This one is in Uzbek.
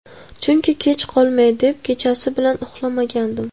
Chunki kech qolmay deb kechasi bilan uxlamagandim.